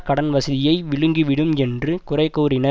கடன் வசதியை விழுங்கிவிடும் என்று குறைகூறின